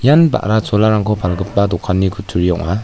ian ba·ra cholarangko palgipa dokani kutturi ong·a.